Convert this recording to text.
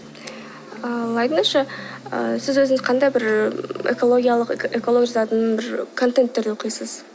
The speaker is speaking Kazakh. ал айтыңызшы ыыы сіз өзіңіз қандай бір і экологиялық экология жазатын бір контенттер оқисыз